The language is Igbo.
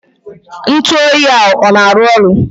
Ntụoyi ahụ ọ na-arụ ọrụ?